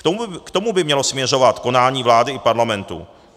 K tomu by mělo směřovat konání vlády i parlamentu.